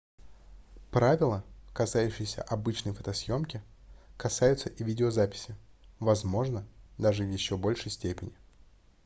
правила касающиеся обычной фотосъёмки касаются и видеозаписи возможно даже в ещё большей степени